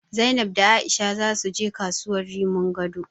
Zainab da A'isha zasu je kasuwar Rimin Gado.